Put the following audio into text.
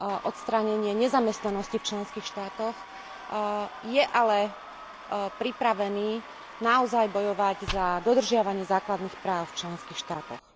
odstránenie nezamestnanosti v členských štátoch, je ale pripravený naozaj bojovať za dodržiavanie základných práv v členských štátoch.